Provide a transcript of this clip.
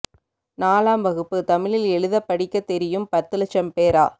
நாலாம் வகுப்பு தமிழில் எழுதப் படிக்கத் தெரியும் பத்து லட்சம் பேரா